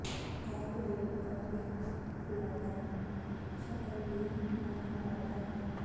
ਇਹ ਗਰੇਡ ਦਾ ਇੱਕ ਫਲੈਟਨ ਸ਼ਕਲ ਵੀ ਨਾ ਫਲੈਟ ਹੈ